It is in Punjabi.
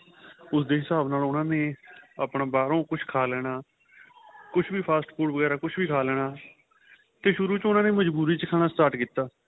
ਉਸ ਦੇ ਹਿਸਾਬ ਨਾਲ ਉਹਨਾ ਆਪਣਾ ਬਾਹਰੋ ਕੁੱਛ ਖਾਂ ਲੈਣਾ ਕੁੱਛ ਵੀ fast food ਵਗੇਰਾ ਕੁੱਚ ਵੀ ਖਾ ਲੈਣਾ ਤੇ ਸ਼ੁਰੂ ਚ ਉਹਨਾ ਨੇ ਮਜ਼ਬੂਰੀ ਵਿੱਚ start ਕੀਤਾ